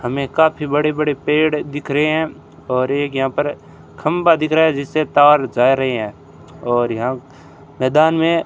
हमें काफी बड़े बड़े पेड़ दिख रहे हैं और एक यहां पर खंबा दिख रहा है जिससे तार जा रहे हैं और यहां मैदान में --